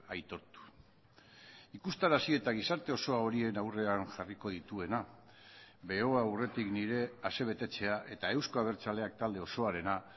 aitortu ikustarazi eta gizarte osoa horien aurrean jarriko dituena aurretik nire asebetetzea eta euzko abertzaleak talde osoarena